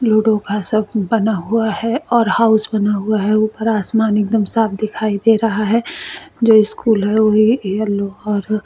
ludo का सबब बना हुआ है और हाउस बना हुआ है ऊपर आसमान एकदम साफ दिखाई दे रहा है जो स्कूल है वो भी येलो और--